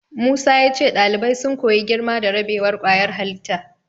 Musa ya ce ɗalibai sun koyi girma da rabewar ƙwayar halitta.